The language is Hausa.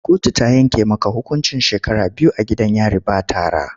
Kotu ta yanke maka hukuncin shekara biyu a gidan yari ba tara!